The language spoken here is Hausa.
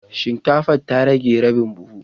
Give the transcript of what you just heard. Shinkafa ta rage rabin buhu